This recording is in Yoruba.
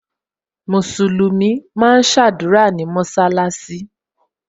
Musulumi máa ń sadura ní mọsalasi